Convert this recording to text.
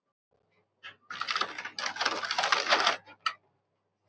Takk fyrir allt, fallega sál.